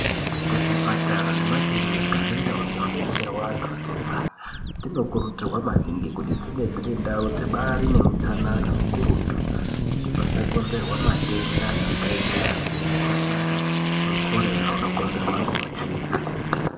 Ku zvipatara nemakirinika nendau dzino detsera antu anorwara dzinokurudzirwa maningi kuti dzinge dziri ndau dzibairi neutsanana ukurutu kuti pasa konzerwa matenda akaita semukuhlani we cholera inokonzerwa ngeutsvina.